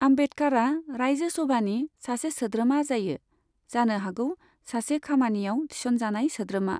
आम्बेदकारा राइजो सभानि सासे सोद्रोमा जायो, जानो हागौ सासे खामानियाव थिसनजानाय सोद्रोमा।